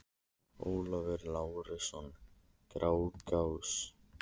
Ólafur Lárusson: Grágás